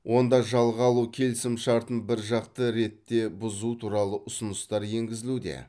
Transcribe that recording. онда жалға алу келісімшартын біржақты ретте бұзу туралы ұсыныстар енгізілуде